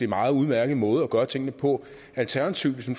meget udmærket måde at gøre tingene på alternativet hvis nu